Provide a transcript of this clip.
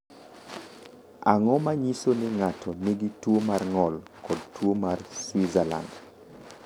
Ang’o ma nyiso ni ng’ato nigi tuwo mar ng’ol kod tuwo mar Switzerland?